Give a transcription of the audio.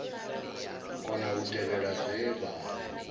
kona u tevhela zwe vha